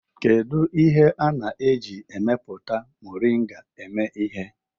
Kedu ihe a na-eji epupụta moringa eme ihe?